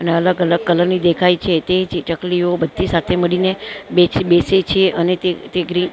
અને અલગ-અલગ કલર ની દેખાય છે તે જે ચકલીઓ બધી સાથે મળીને બેઠી બેસે છે અને તેં તેં ગ્રી --